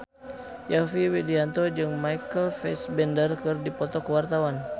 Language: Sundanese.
Yovie Widianto jeung Michael Fassbender keur dipoto ku wartawan